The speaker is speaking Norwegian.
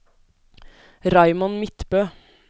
Raymond Midtbø